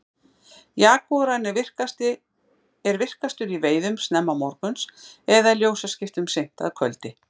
jagúarinn er virkastur í veiðum snemma morguns eða í ljósaskiptum seint að kvöldi